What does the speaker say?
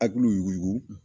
Akiliw yuguugu